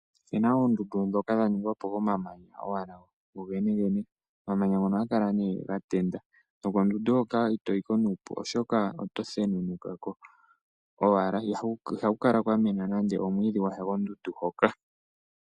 Opuna oondundu ndhoka dhaningwapo owala komamanya gogene gene .omamanya ngono ohaga kala nee gatenda nokondundu hoka itoyiko nuupu oshoka oto thenunukako owala. ihaku kala kwamena nande omwiidhi gwasha kondundu hoka.